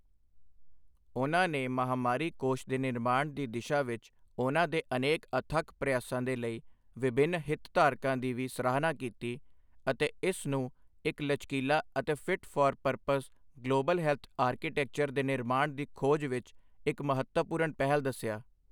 ਉਨ੍ਹਾਂ ਨੇ ਮਹਾਮਾਰੀ ਕੋਸ਼ ਦੇ ਨਿਰਮਾਣ ਦੀ ਦਿਸ਼ਾ ਵਿੱਚ ਉਨ੍ਹਾਂ ਦੇ ਅਨੇਕ ਅਥੱਕ ਪ੍ਰਯਾਸਾਂ ਦੇ ਲਈ ਵਿਭਿੰਨ ਹਿਤਧਾਰਕਾਂ ਦੀ ਵੀ ਸਰਾਹਨਾ ਕੀਤੀ ਅਤੇ ਇਸ ਨੂੰ ਇੱਕ ਲਚਕੀਲਾ ਅਤੇ fit for purpose global health architecture ਦੇ ਨਿਰਮਾਣ ਦੀ ਖੋਜ ਵਿੱਚ ਇੱਕ ਮਹੱਤਵਪੂਰਣ ਪਹਿਲ ਦੱਸਿਆ।